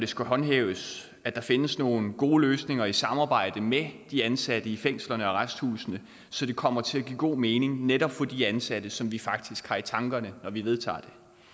skal håndhæves findes nogle gode løsninger i samarbejde med de ansatte i fængslerne og arresthusene så det kommer til at give god mening netop for de ansatte som vi faktisk har i tankerne når vi vedtager